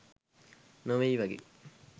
නොවෙයි වගේ..